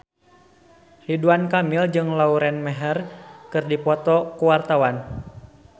Ridwan Kamil jeung Lauren Maher keur dipoto ku wartawan